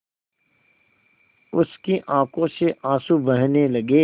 उसकी आँखों से आँसू बहने लगे